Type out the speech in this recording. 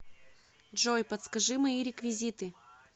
джой подскажи мои реквизиты